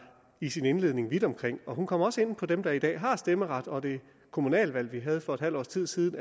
i sin indledning vidt omkring og kom også ind på dem der i dag har stemmeret og det kommunalvalg vi havde for et halvt års tid siden